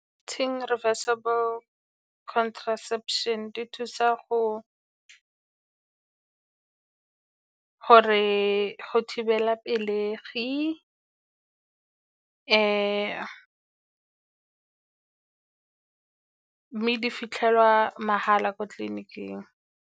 reversable contraception, di thusa gore go thibela pelegi mme di fitlhelwa mahala ko tleliniking.